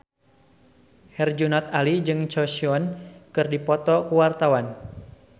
Herjunot Ali jeung Choi Siwon keur dipoto ku wartawan